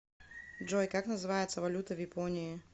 джой как называется валюта в японии